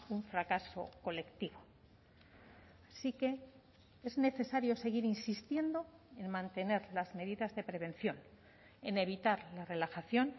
un fracaso colectivo sí que es necesario seguir insistiendo en mantener las medidas de prevención en evitar la relajación